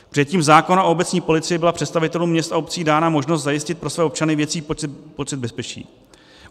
Přijetím zákona o obecní policii byla představitelům měst a obcí dána možnost zajistit pro své občany větší pocit bezpečí.